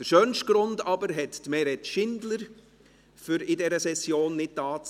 Der schönste Grund aber, um an dieser Session nicht dabei zu sein, hat Meret Schindler: